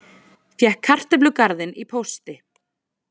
Fékk kartöflugarðinn í pósti